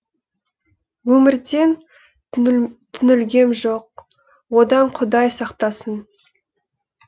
өмірден түңілгем жоқ одан құдай сақтасын